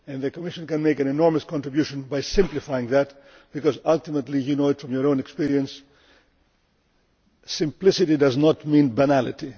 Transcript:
The Commission can make an enormous contribution by simplifying that because ultimately, as you know from your own experience, simplicity does not mean banality.